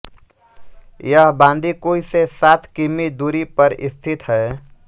यह बाँदीकुई से सात किमी दूरी पर स्थित हैं